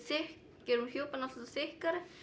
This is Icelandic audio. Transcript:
gerum hjúpinn alltaf þykkari